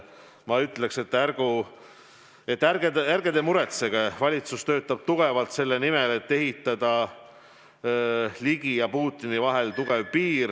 Ma ütleks: ärge muretsege, valitsus töötab tugevalt selle nimel, et ehitada Ligi ja Putini vahele tugev piir.